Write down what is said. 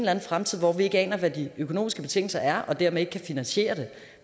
anden fremtid hvor vi ikke aner hvad de økonomiske betingelser er og dermed ikke kan finansiere det